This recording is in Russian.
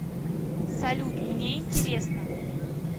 салют мне интересно